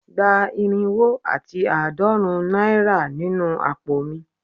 Gba irinwo ati aadorun naira ninu apo mi